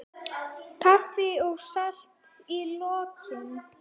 Kaffi og safi í lokin.